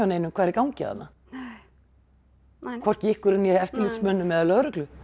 neinum hvað er í gangi þarna nei hvorki ykkur né eftirlitsmönnum eða lögreglu